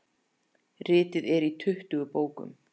Ritið er í tuttugu bókum.